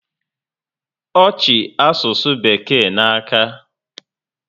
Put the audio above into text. Ọ chi asụsụ bekee n'aka